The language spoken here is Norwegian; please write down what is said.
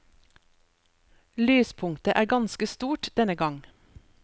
Lyspunktet er ganske stort denne gang.